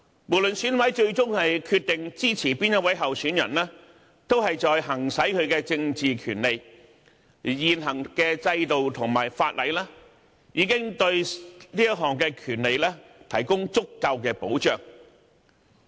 無論選委最終決定支持哪一位候選人，都是在行使其政治權利，而現行制度和法例已對這項權利提供足夠的保障。